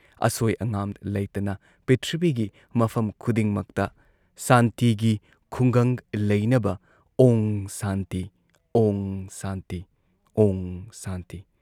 ꯑꯁꯣꯏ ꯑꯉꯥꯝ ꯂꯩꯇꯅ ꯄꯤꯊ꯭ꯔꯤꯕꯤꯒꯤ ꯃꯐꯝ ꯈꯨꯗꯤꯡꯃꯛꯇ ꯁꯥꯟꯇꯤꯒꯤ ꯈꯨꯡꯒꯪ ꯂꯩꯅꯕ ꯑꯣꯡ ꯁꯥꯟꯇꯤ ꯑꯣꯡ ꯁꯥꯟꯇꯤ ꯑꯣꯡ ꯁꯥꯟꯇꯤ ꯫